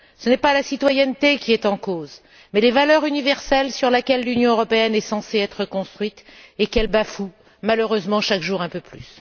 Ce n'est pas la citoyenneté qui est en cause mais les valeurs universelles sur lesquelles l'Union européenne est censée être construite, valeurs qu'elle bafoue, malheureusement, chaque jour un peu plus.